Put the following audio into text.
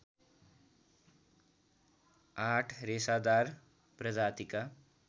आठ रेसादार प्रजातिका